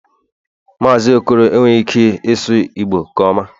Mazị okoro enweghị ike ịsụ Igbo nke ọma